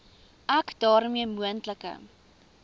ek daarmee moontlike